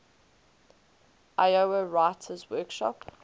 iowa writers workshop